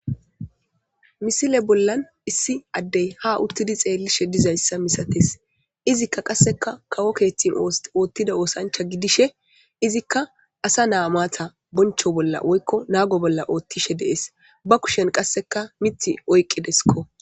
Misile bollan issi addey ha uttidi xeellishshe dizayssa misates izikka qasseka kawo keeththin oothtida oosancha gidishe izikka asa na'a maata bonchcho bolla woykko naago bolla oothtishe dees ba kushen qasseka miththi oyqqidessikko